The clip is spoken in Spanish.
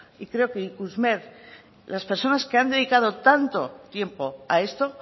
creo que ikusmer las personas que han dedicado tanto tiempo a esto